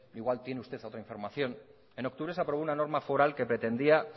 igual tiene usted otra información en octubre se aprobó una norma foral que pretendía